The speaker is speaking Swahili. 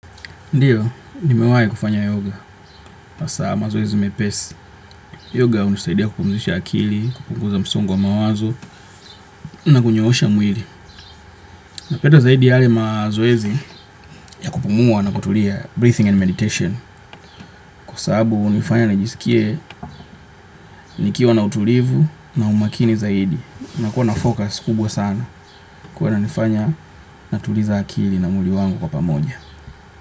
Ndiyo, nimewahi kufanya yoga. Hasa mazoezi mepesi. Yoga hunisaidia kupumuzisha akili, kupunguza msongu wa mawazo na kunyoosha mwili. Napenda zaidi yale mazoezi ya kupumua na kutulia breathing and meditation. Kwasabu hunifanya na jisikie nikiwa na utulivu na umakini zaidi. Na kuwa na focus kubwa sana. Kwahiyo inanifanya natuliza akili na mwili wangu kwa pamoja.